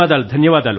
ధన్యవాదాలు